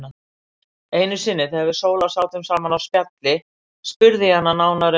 Einu sinni þegar við Sóla sátum saman á spjalli spurði ég hana nánar um